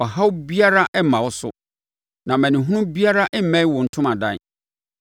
ɔhaw biara remma wo so, na amanehunu biara remmɛn wo ntomadan.